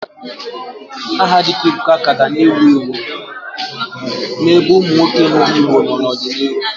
Aha dịka Ebuka ka ga na-ewu ewu n'ebe ụmụ nwoke ndị Igbo nọ n'ọdịnihu.